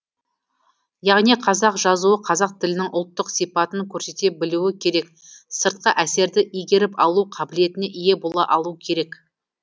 яғни қазақ жазуы қазақ тілінің ұлттық сипатын көрсете білуі керек сыртқы әсерді игеріп алу қабілетіне ие бола алу керек